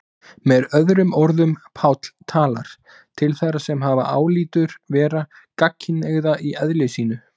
Með öðrum orðum, Páll talar til þeirra sem hann álítur vera gagnkynhneigða í eðli sínu.